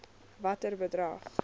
watter bedrag